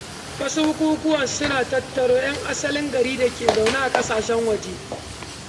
Wasu bukukuwa suna tattaro ‘yan asalin gari da ke zaune a ƙasashen waje.